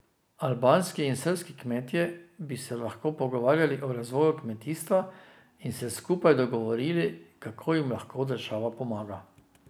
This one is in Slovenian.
Albanski in srbski kmetje bi se lahko pogovarjali o razvoju kmetijstva in se skupaj dogovorili, kako jim lahko država pomaga.